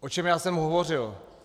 O čem já jsem hovořil?